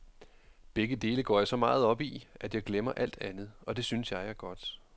Begge dele går jeg så meget op i, at jeg glemmer alt andet, og det synes jeg er godt.